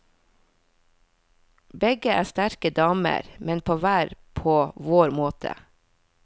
Begge er sterke damer, men på hver på vår måte.